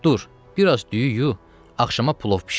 Dur, biraz düyü yu, axşama plov bişir.